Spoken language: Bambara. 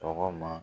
Tɔgɔ ma